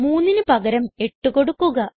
3ന് പകരം 8 കൊടുക്കുക